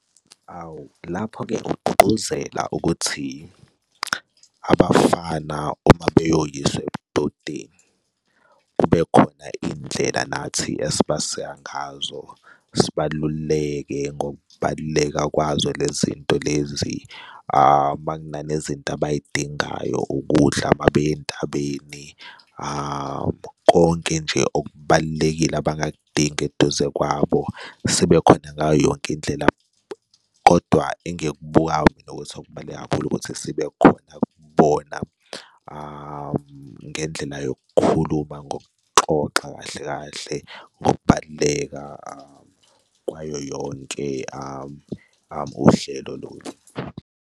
Awu lapho-ke ugqugquzela ukuthi abafana uma beyoyiswa ebudodeni kube khona indlela nathi esibasika ngazo sibaluleke ngokubaluleka kwazo lezi nto lezi uma kunane zinto abay'dingayo ukudla, uma beya entabeni konke nje okubalulekile abangakudinga eduze kwabo sebekhona ngayo yonke indlela. Kodwa engikubukayo mina ukuthi okubaluleke kakhulu ukuthi sibe khona kubona ngendlela yokukhuluma ngokuxoxa kahle kahle ngokubaluleka kwayo yonke uhlelo lolu.